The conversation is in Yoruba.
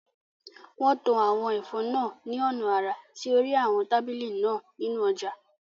Wọ́n to àwọn ẹ̀fọ́ náà ní ọ̀nà àrà sí orí àwọn tábìlì náà nínú ọjà